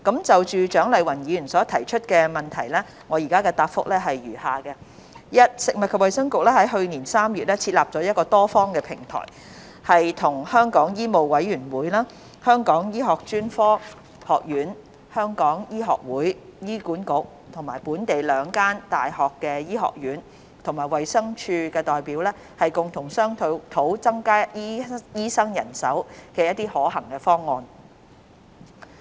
就蔣麗芸議員所提出的質詢，我現答覆如下：一食物及衞生局於去年3月設立了多方平台，與香港醫務委員會、香港醫學專科學院、香港醫學會、醫管局、本地兩間醫學院和衞生署的代表共同商討增加醫生人手的可行方案。